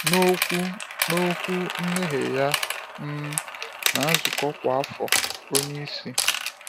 N’okwu N’okwu mmeghe ya um na nzukọ kwa afọ, onyeisi oche